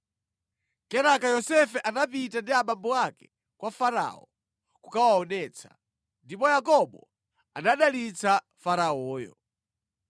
Kenaka Yosefe anapita ndi abambo ake kwa Farao kukawaonetsa, ndipo Yakobo anadalitsa Faraoyo.